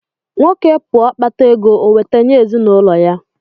Nwoke pụọ kpátá égo, o weta nye ezinụlọ ya